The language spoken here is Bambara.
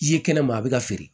I ye kɛnɛma a bi ka feere